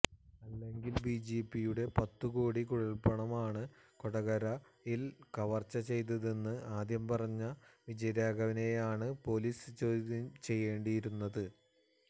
അല്ലെങ്കിൽ ബിജെപിയുടെ പത്തു കോടി കുഴൽപ്പണമാണ് കൊടകരയിൽ കവർച്ച ചെയ്തതതെന്ന് ആദ്യം പറഞ്ഞ വിജയരാഘവനെയാണ് പൊലീസ് ചോദ്യം ചെയ്യേണ്ടിയിരുന്നത്